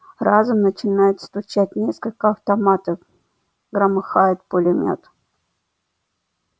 разом начинают стучать несколько автоматов громыхает пулемёт